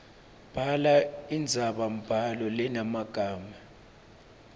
bhala indzabambhalo lenemagama